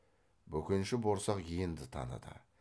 бөкенші борсақ енді таныды